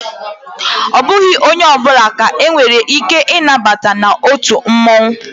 Ọ bụghị onye ọbụla ka e nwere ike ị nabata na otu mmụọnwụ